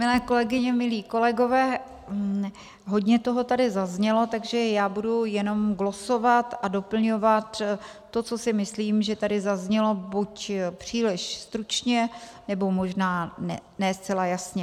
Milé kolegyně, milí kolegové, hodně toho tady zaznělo, takže já budu jenom glosovat a doplňovat to, co si myslím, že tady zaznělo buď příliš stručně, nebo možná ne zcela jasně.